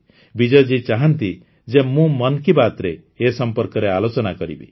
ବିଜୟ ଜୀ ଚାହାନ୍ତି ଯେ ମୁଁ ମନ୍ କୀ ବାତ୍ରେ ଏ ସମ୍ପର୍କରେ ଆଲୋଚନା କରିବି